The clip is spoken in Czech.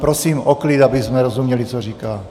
Prosím o klid, abychom rozuměli, co říká.